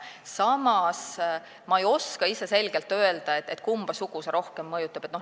Samas ei oska ma selgelt öelda, kumba sugu see rohkem mõjutab.